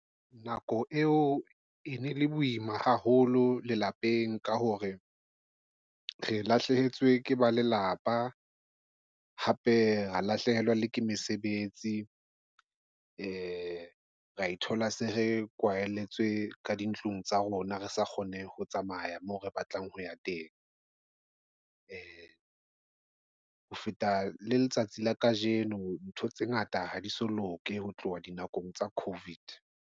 Nako eo e ne le boima haholo lelapeng ka hore re lahlehetswe ke ba lelapa, hape ho lahlehelwa ke mesebetsi. Ee, ra ithola se re kwahelletswe ka dintlong tsa rona re sa kgone ho tsamaya moo re batlang ho ya teng. Ee, ho feta letsatsi la kajeno. Ntho tse ngata ha di so loke ho tloha dinakong tsa COVID.